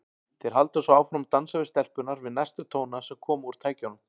Þeir halda svo áfram að dansa við stelpurnar við næstu tóna sem koma úr tækjunum.